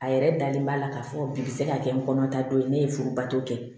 A yɛrɛ dalen b'a la k'a fɔ bi se ka kɛ n kɔnɔ ta dɔ ye ne ye furubato kɛ